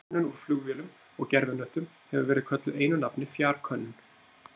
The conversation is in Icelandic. Könnun úr flugvélum og gervihnöttum hefur verið kölluð einu nafni fjarkönnun.